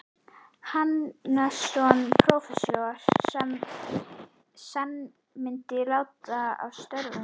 Hannessonar, prófessors, sem senn myndi láta af störfum.